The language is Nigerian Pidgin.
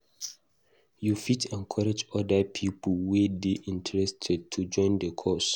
You fit encourage oda pipo wey dey interested to join the cause